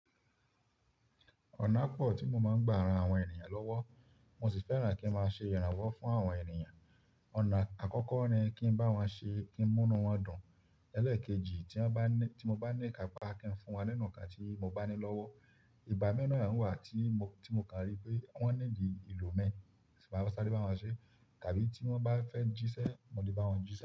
Ọ̀nà pọ̀ tí mo máa ń gba ara àwọn ènìyàn lọ́wọ́, mo sì fẹ́ràn kí n máa ṣe ìrànwọ́ fún àwọn ènìyàn. Ọ̀nà àkọ́kọ́ ni kí n bá wọn ṣe kí ń múnu wọn dùn. Ẹ̀lẹ́ẹ̀kejì tí wọ́n bá ní, tí mo bá ní ìkápá kí n fún wọn nínú nǹkan tí mo bá ní lọ́wọ́. Ìgbà mìíràn á wa ń wà tí mo, tí mo kàn rí pé wọ́n ní di ìlò mi, sì máa ṣálé bá wọn ṣe. Tàbí tí wọ́n bá fẹ́ jíṣẹ́, mo lè bá wọn jíṣẹ́.